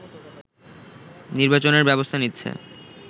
নির্বাচনের ব্যবস্থা নিচ্ছে